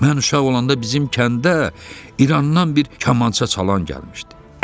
Mən uşaq olanda bizim kəndə İrandan bir kamança çalan gəlmişdi.